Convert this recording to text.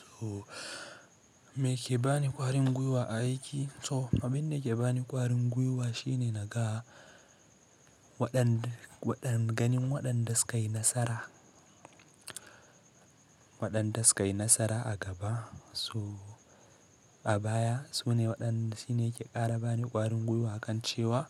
So me ke bani ƙwarin gwiwa a aiki? To abin da ke bani ƙwarin gwiwa shine na ga waɗan, waɗan ganin waɗan da su ka yi nasara, waɗan da su ka yi nasara a gaba. So a baya sune waɗan, shi ne ke ƙara bani ƙwarin gwiwa akan cewa